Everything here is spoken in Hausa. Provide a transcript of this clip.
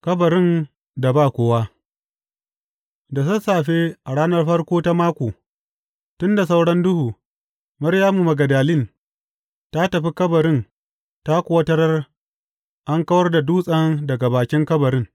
Kabarin da ba kowa Da sassafe a ranar farko ta mako, tun da sauran duhu, Maryamu Magdalin ta tafi kabarin ta kuwa tarar an kawar da dutsen daga bakin kabarin.